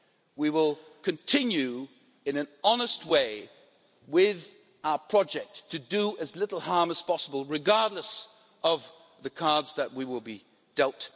We will continue in an honest way with our project to do as little harm as possible, regardless of the cards that we will be dealt.